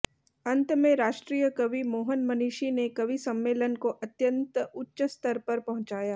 अंत में राष्ट्रीय कवि मोहन मनीषी ने कवि सम्मेलन को अत्यंत उच्च स्तर पर पहुंचाया